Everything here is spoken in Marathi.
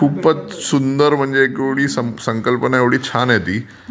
खूपच सुंदर म्हणजे संकल्पना छानच आहे ती.